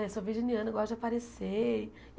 Ai, sou virginiana, gosto de aparecer.